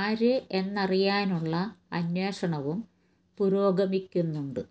ആര് എന്നറിയാനുള്ള അന്വേഷണവും പുരോഗമിക്കുന്നുണ്ട്